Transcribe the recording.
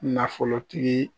Nafolotigi